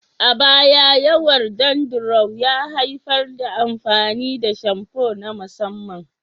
A baya, yawaitar dandruff ya haifar da amfani da shamfu na musamman.